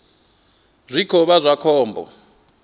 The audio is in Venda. zwi khou vha zwa khombo